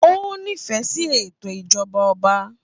Ó nífẹ̀ẹ́ sí ètò ìjọba ọba.